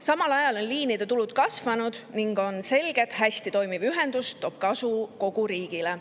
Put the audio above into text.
Samal ajal on liinide tulud kasvanud ning on selge, et hästi toimiv ühendus toob kasu kogu riigile.